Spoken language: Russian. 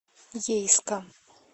ейска